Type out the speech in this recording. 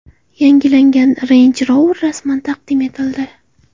Yangilangan Range Rover rasman taqdim etildi.